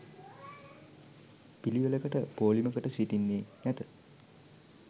පිළිවෙළකට පෝලිමකට සිටින්නේ නැත